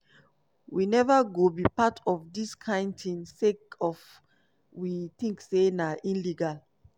we neva go be part of dis kind tin sake of we tink say na illegal."